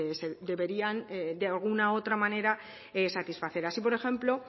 pues deberían de alguna otra manera satisfacer así por ejemplo